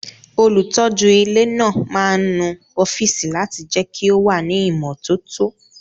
Olùtọ́jú ilé náà máa ń nu ọ́fíìsì láti lè jẹ́ kí ó wà ní ìmọ́tótó